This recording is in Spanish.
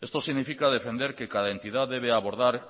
esto significa defender que cada entidad debe abordar